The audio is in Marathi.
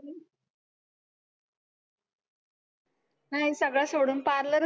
नाही सगळं सोडून parlour